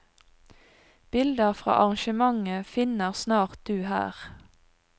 Bilder fra arrangementet finner snart du her.